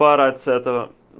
поорать с этого